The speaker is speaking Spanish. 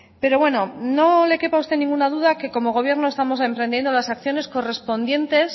pero bueno no le quepa a usted ninguna duda que como gobierno estamos emprendiendo las acciones correspondientes